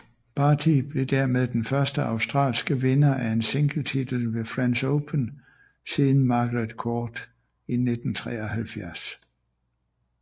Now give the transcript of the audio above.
Barty blev dermed den første australske vinder af en singletitel ved French Open siden Margaret Court i 1973